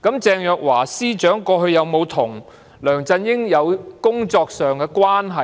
鄭若驊司長過往跟梁振英有否有工作關係呢？